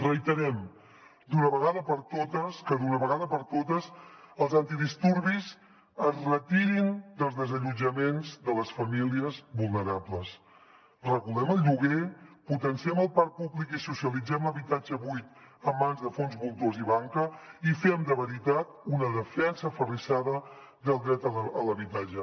reiterem que d’una vegada per totes els antidisturbis es retirin dels desallotjaments de les famílies vulnerables regulem el lloguer potenciem el parc públic i socia litzem l’habitatge buit en mans de fons voltors i banca i fem de veritat una defensa aferrissada del dret a l’habitatge